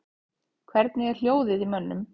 Hvernig er hljóðið í mönnum?